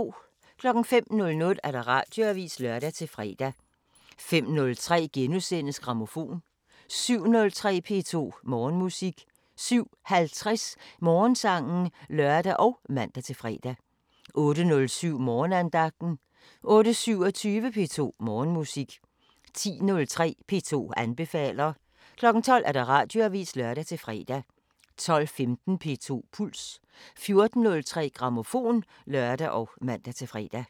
05:00: Radioavisen (lør-fre) 05:03: Grammofon *(lør-fre) 07:03: P2 Morgenmusik 07:50: Morgensangen (lør og man-fre) 08:07: Morgenandagten 08:27: P2 Morgenmusik 10:03: P2 anbefaler 12:00: Radioavisen (lør-fre) 12:15: P2 Puls 14:03: Grammofon (lør og man-fre)